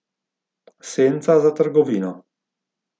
Senca za trgovino.